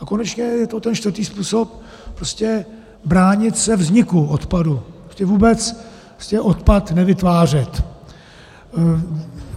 a konečně je to ten čtvrtý způsob, prostě bránit se vzniku odpadu, prostě vůbec odpad nevytvářet.